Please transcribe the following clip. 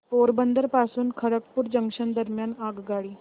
पोरबंदर पासून खरगपूर जंक्शन दरम्यान आगगाडी